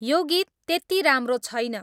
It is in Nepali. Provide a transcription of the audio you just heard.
यो गीत त्यती राम्रो छैन